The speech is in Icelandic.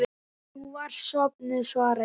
Þú varst sofnuð, svara ég.